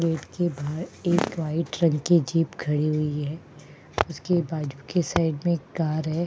Gate के बाहर एक वाइट रंग की जीप खड़ी हुई है उसके बाजू के साइड में एक कार है।